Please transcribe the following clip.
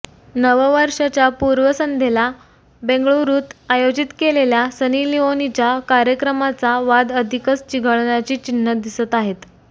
नववर्षाच्या पूर्वसंध्येला बेंगळुरूत आयोजित केलेल्या सनी लिओनीच्या कार्यक्रमाचा वाद अधिकच चिघळण्याची चिन्हं दिसत आहेत